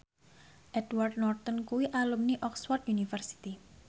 Edward Norton kuwi alumni Oxford university